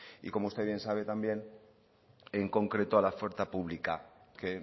y como usted bien sabe también en concreto a la oferta pública que